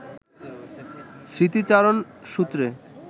স্মৃতিচারণসূত্রে